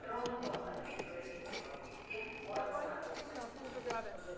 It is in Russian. дрон-тон ответила издали в гнезде ворон-самка